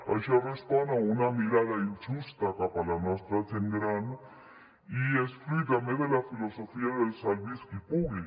això respon a una mirada injusta cap a la nostra gent gran i és fruit també de la filosofia del salvi’s qui pugui